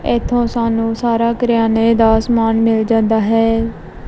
ਇਥੋਂ ਸਾਨੂੰ ਸਾਰਾ ਕਰਿਆਨੇ ਦਾ ਸਮਾਨ ਮਿਲ ਜਾਂਦਾ ਹੈ।